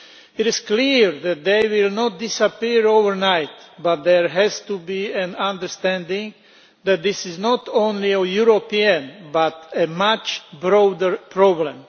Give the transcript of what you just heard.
It is clear that they will not disappear overnight, but there has to be an understanding that this is not only a European problem but a much broader problem.